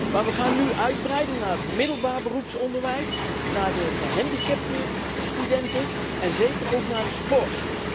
Maar we gaan nu uitbreiden naar het middelbaar beroepsonderwijs, naar de gehandicapte studenten en zeker ook naar de sport.